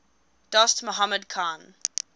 dost mohammad khan